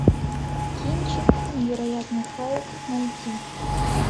кинчик невероятный халк найти